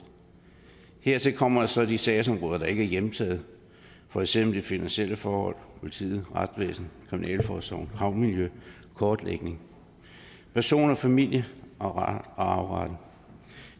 hertil kommer så de sagsområder der ikke er hjemtaget for eksempel de finansielle forhold politiet retsvæsenet kriminalforsorgen havmiljøet kortlægning person familie og arveret